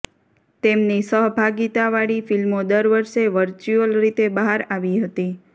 તેમની સહભાગીતાવાળી ફિલ્મો દર વર્ષે વર્ચ્યુઅલ રીતે બહાર આવી હતી